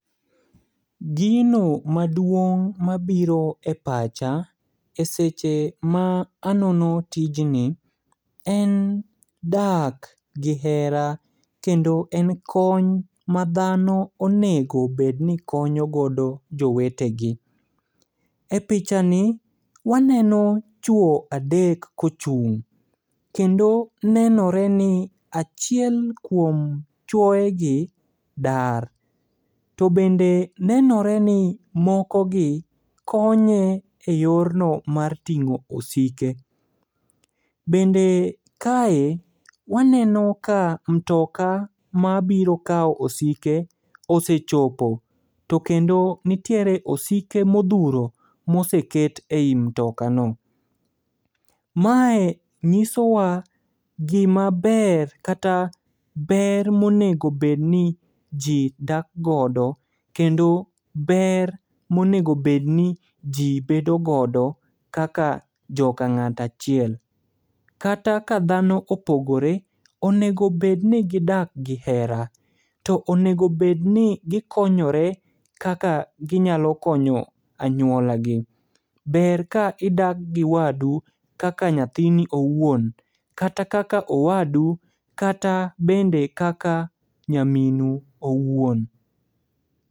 Gino maduong' mabiro e pacha e seche ma anono tijni, en dak gi hera kendo en kony madhano onego bedni konyo godo jowetegi. E pichani waneno chwo adek kochung'. Kendo nenore ni achiel kuom chuoegi dar. To bende nenore ni mokogi konye e yorno mar tin'go osike. Bende kae waneno ka mtoka mabiro kao osike osechopo. To kendo nitiere osike modhuro moseket ei mtokano. Mae nyisowa gima ber kata ber monego bedni ji dak godo kendo ber monego bedni ji bedogodo kaka joka ng'at achiel. Kata ka dhano opogore onego bedni gidak gi hera. To onego bedni gikonyore kaka ginyalo konyo anyuolagi. Ber ka idak gi wadu kaka nyathini owuon. Kata kaka owadu kata bende kaka nyaminu owuon.